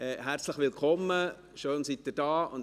Herzlich willkommen; schön, sind Sie hier.